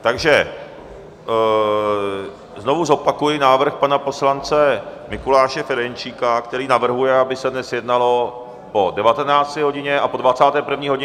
Takže znovu zopakuji návrh pana poslance Mikuláše Ferjenčíka, který navrhuje, aby se dnes jednalo po 19. hodině a po 21. hodině.